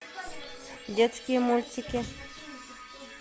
детские мультики